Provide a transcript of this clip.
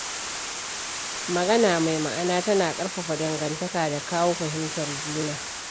Magana mai ma’ana tana ƙarfafa dangantaka da kawo fahimtar juna.